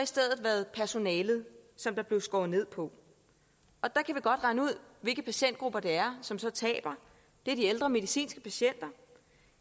stedet været personalet som der blev skåret ned på og der kan vi godt regne ud hvilke patientgrupper det er som så taber det er de ældre medicinske patienter